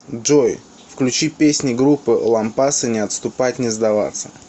джой включи песни группы лампасы не отступать не сдаваться